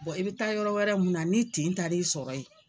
i bɛ taa yɔrɔ wɛrɛ mun na ni t tin taar'i sɔrɔ yen.